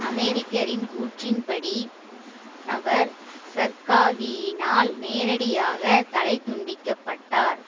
அமெரிக்கரின் கூற்றின்படி அவர் சர்காவியினால் நேரடியாக தலை துண்டிக்கப்பட்டார்